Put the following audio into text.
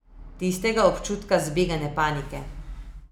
Tistega občutka zbegane panike.